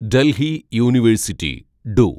Delhi university do